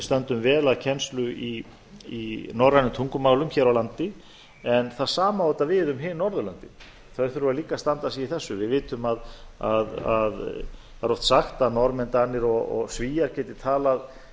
stöndum vel að kennslu í norrænum tungumálum hér á landi en það sama á auðvitað við um hin norðurlöndin þau þurfa líka að standa sig í þessu við vitum að það er oft sagt að norðmenn danir og svíar geti talað